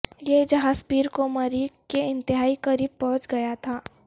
یہ جہاز پیر کو مریخ کے انتہائی قریب پہنچ گیا تھا